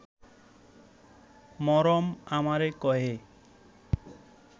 মরম আমারে কয়ে